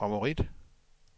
favorit